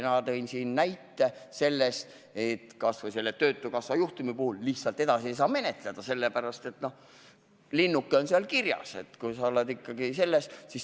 Ma tõin siin näite töötukassa juhtumi kohta, mida lihtsalt edasi menetleda ei saanud, sellepärast et linnuke oli seal kusagil kirjas.